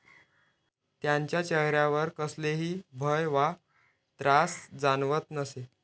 त्यांच्या चेहऱ्यावर कसलेही भय वा त्रास जाणवत नसे.